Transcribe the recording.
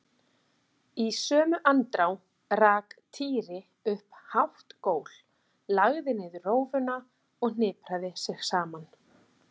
Í sömu andrá rak Týri upp hátt gól, lagði niður rófuna og hnipraði sig saman.